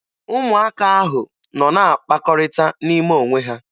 Ụmụaka ahụ nọ na-akpakọrịta n'ime onwe ha.